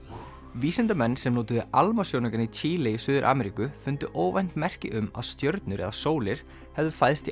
vísindamenn sem notuðu ALMA sjónaukann í Chile í Suður Ameríku fundu óvænt merki um að stjörnur eða sólir hefðu fæðst